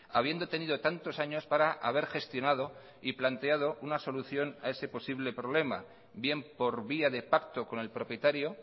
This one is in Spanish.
habiendo tenido tantos años para haber gestionado y planteado una solución a ese posible problema bien por vía de pacto con el propietario